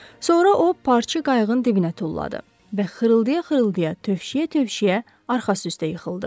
Sonra o, parçanı qayığın dibinə tulladı və xırıldaya-xırıldaya, tövşüyə-tövşüyə arxası üstə yıxıldı.